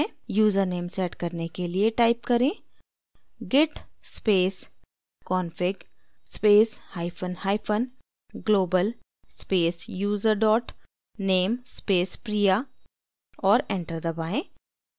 username set करने के लिए type करें: git space config space hyphen hyphen global space user dot name space priya और enter दबाएँ